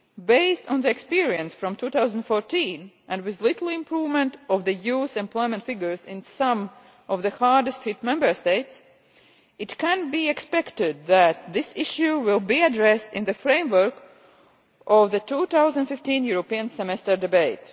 least, based on the experience of 2014 and with little improvement of the youth employment figures in some of the hardest hit Member States, it can be expected that this issue will be addressed in the framework of the 2015 European Semester debate.